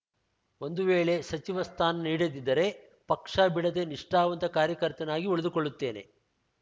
ಒಂದು ವೇಳೆ ಸಚಿವ ಸ್ಥಾನ ನೀಡದಿದ್ದರೆ ಪಕ್ಷ ಬಿಡದೆ ನಿಷ್ಠಾವಂತ ಕಾರ್ಯಕರ್ತನಾಗಿ ಉಳಿದುಕೊಳ್ಳುತ್ತೇನೆ